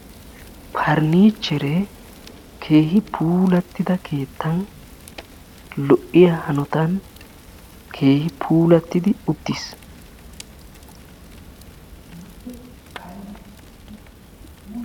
Parinichcheree keehi puulattida keettan lo"iyaa hanotan keehi puulattidi uttiis.